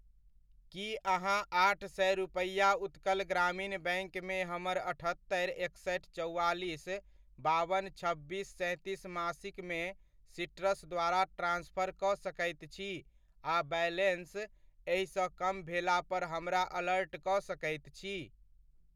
की अहाँ आठ सए रुपैआ उत्कल ग्रामीण बैङ्कमे हमर अठत्तरि, एकसठि, चौआलीस बावन छब्बीस सैंतीस मासिकमे सीट्रस द्वारा ट्रांसफर कऽ सकैत छी आ बैलेन्स एहि सँ कम भेला पर हमरा अलर्ट कऽ सकैत छी ?